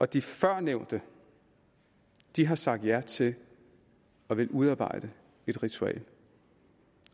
de førnævnte har sagt ja til at ville udarbejde et ritual